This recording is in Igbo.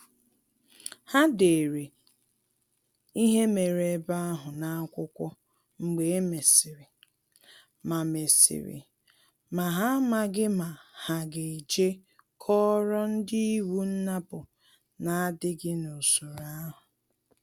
Ha dere ihe mere ebe ahụ n’akwụkwọ mgbe e mesịrị, ma mesịrị, ma ha amaghi ma ha ga-eje koro ndi iwu nnapu na-adịghị n’usoro ahụ